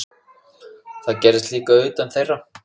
Það gerðist líka utan þeirra.